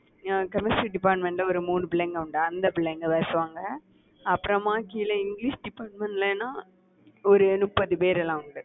chemistry department ல ஒரு மூணு பிள்ளைங்க உண்டு. அந்த பிள்ளைங்க பேசுவாங்க. அப்புறமா கீழ இங்கிலிஷ் department லனா ஒரு முப்பது பேர்லாம் உண்டு